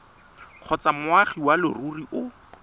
kgotsa moagi wa leruri o